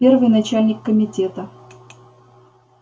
первый начальник комитета